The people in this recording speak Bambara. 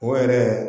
O yɛrɛ